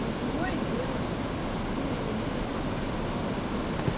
ну другое дело пингвинчик